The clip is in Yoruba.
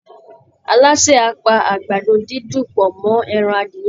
Alásè á pa àgbàdo-dídùn pọ̀ mọ́ ẹran adìyẹ